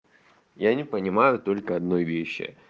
я не понимаю только одной вещи